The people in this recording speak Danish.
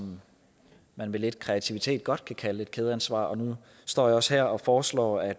man med lidt kreativitet godt kan kalde et kædeansvar og nu står jeg også her og foreslår at